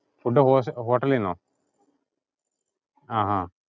Food hotel ഇൽ നിന്നോ? ആഹ് ആഹ്